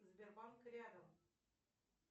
сбербанк рядом